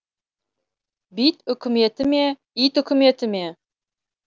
бит үкіметі ме ит үкіметі ме